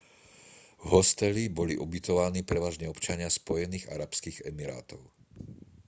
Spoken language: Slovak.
v hosteli boli ubytovaní prevažne občania spojených arabských emirátov